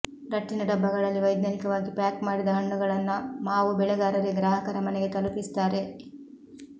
ರಟ್ಟಿನ ಡಬ್ಬಗಳಲ್ಲಿ ವೈಜ್ಞಾನಿಕವಾಗಿ ಪ್ಯಾಕ್ ಮಾಡಿದ ಹಣ್ಣುಗಳನ್ನು ಮಾವು ಬೆಳೆಗಾರರೇ ಗ್ರಾಹಕರ ಮನೆಗೆ ತಲುಪಿಸುತ್ತಾರೆ